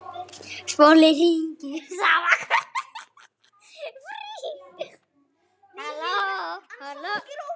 Hvert verk hefur sín lögmál.